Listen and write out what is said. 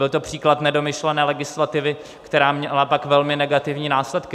Byl to příklad nedomyšlené legislativy, která měla pak velmi negativní následky.